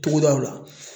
Togodaw la